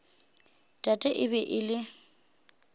tate e be e le